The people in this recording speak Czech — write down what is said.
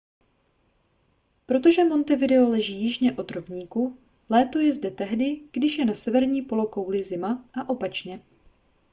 protože montevideo leží jižně od rovníku léto je zde tehdy když je na severní polokouli zima a opačně